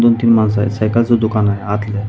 दोन तीन माणसं आहेत सायकल च दुकान आहे आतल्या --